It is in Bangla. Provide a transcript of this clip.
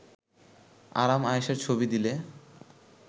আরাম-আয়েশের ছবি দিলে